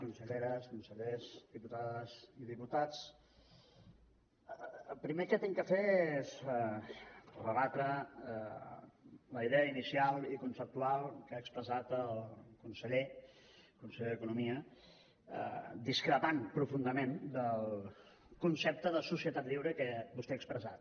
conselleres consellers diputades i diputats el primer que haig de fer és rebatre la idea inicial i conceptual que ha expressat el conseller d’economia i discrepar profundament del concepte de societat lliure que vostè ha expressat